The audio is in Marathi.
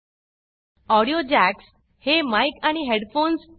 ऑडियो jacksऑडियो जॅक्स हे माइक आणि हेडफोन्स